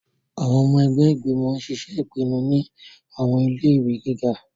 Awọn ọmọ ẹgbẹ igbimọ ń ṣiṣe ipinnu ni awọn ile-iwẹ giga